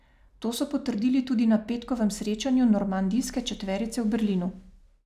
To so potrdili tudi na petkovem srečanju normandijske četverice v Berlinu.